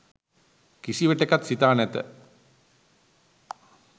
කිසිවිටෙකත් සිතා නැත.